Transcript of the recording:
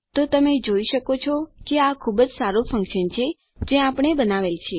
તો તમે જોઈ શકો છો કે આ ખૂબ જ સારું ફન્કશન છે જે આપણે બનાવેલ છે